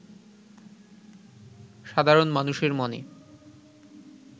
সাধারণ মানুষের মনে